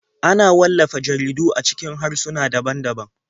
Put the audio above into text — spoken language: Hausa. Ana wallafa jaridu a cikin harsuna daban-daban.